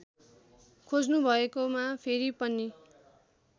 खोज्नुभएकोमा फेरि पनि